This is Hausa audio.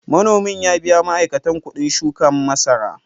Manomin ya biya ma’aikata kuɗin shuka masara.